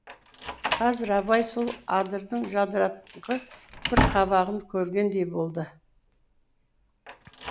қазір абай сол адырдың жадыраңқы бір қабағын көргендей болды